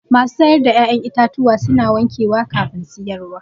Masu siyar da ƴa'ƴan itatuwa suna wankewa kafin siyarwa